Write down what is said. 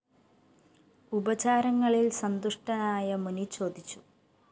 ഉപചാരങ്ങളില്‍ സന്തുഷ്ടനായ മുനി ചോദിച്ചു